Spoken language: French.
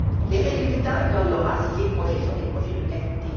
Des résultats, il y en aura si les projets sont des projets de qualité.